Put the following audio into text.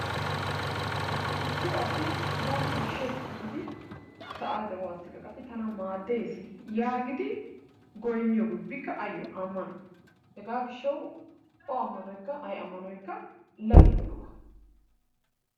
Issi asi bana ashees giidi ta de'uwassikka qassi tana maadees yagiidi goynniyobi ubbikka ayyo ammano. Hegaa gishshawu o ammanoykka o ammanoykka lagge giyogaa.